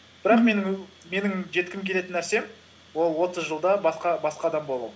бірақ менің жеткім келетін нәрсем ол отыз жылда басқа адам болу